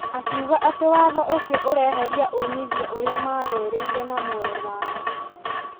Akiuga atĩ watho ũcio ũreheria umithio ũria marũĩreire na mwoyo wao ,